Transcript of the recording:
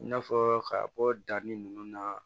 I n'a fɔ ka bɔ danni nunnu na